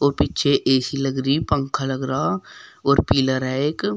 और पीछे ऐ_सी लग रही है पंखा लग रहा और पिलर है एक।